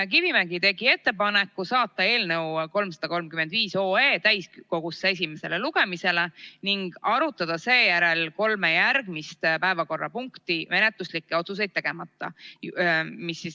Kivimägi tegi ettepaneku saata 335 OE täiskogusse esimesele lugemisele ning arutada seejärel kolme järgmist päevakorrapunkti menetluslikke otsuseid tegemata.